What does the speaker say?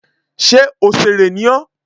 Ṣé òsèrè ni ọ́?